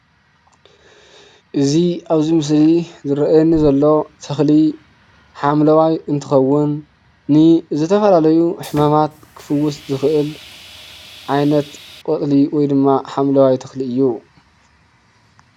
እዚ ኣብዚ ምስሊ ዝረኣየኒ ዘሎ ተክሊ ሓምለዋይ እንትከውን ንዝተፈላለዩ ሕማማት ክፍውስ ዝክእል ዓይነት ቆፅሊ ወይድማ ሓምለዋይ ተክሊ እዩ።